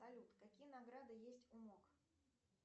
салют какие награды есть у мок